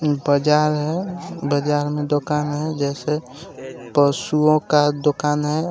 बजार है बजार में दुकान है जैसे पशुओं का दुकान हैं. और